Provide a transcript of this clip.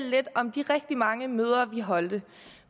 lidt om de rigtig mange møder vi holdt